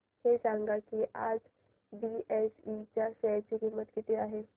हे सांगा की आज बीएसई च्या शेअर ची किंमत किती आहे